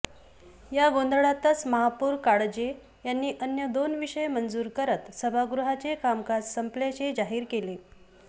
या गोंधळातच महापौर काळजे यांनी अन्य दोन विषय मंजूर करत सभागृहाचे कामकाज संपल्याचे जाहीर केले